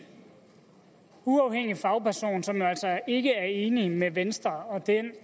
uafhængig fagperson som jo altså ikke er enig med venstre og